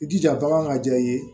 I jija bagan ka diya i ye